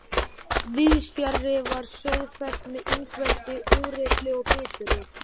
Víðsfjarri var Sauðafell með Ingveldi, úrillri og biturri.